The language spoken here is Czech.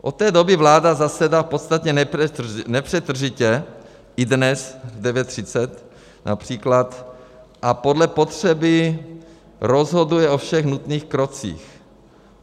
Od té doby vláda zasedá v podstatě nepřetržitě, i dnes v 9.30 například, a podle potřeby rozhoduje o všech nutných krocích.